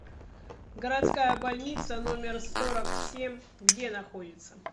городская больница номер сорок семь где находится